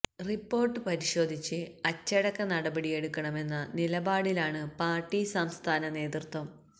report പരിശോധിച്ച് അച്ചടക്ക നടപടിയെടുക്കണമെന്ന നിലപാടിലാണ് പാർട്ടി സംസ്ഥാന നേതൃത്വം